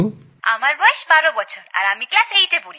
আমার বয়স ১২ বছর আর আমি ক্লাস এইটে পড়ি